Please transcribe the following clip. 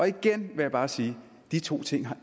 igen vil jeg bare sige at de to ting